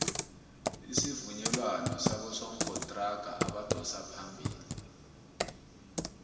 isuvumelwano sobosokontraga abadosa phambili